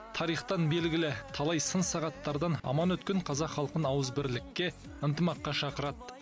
тарихтан белгілі талай сын сағаттардан аман өткен қазақ халқын ауызбірлікке ынтымаққа шақырады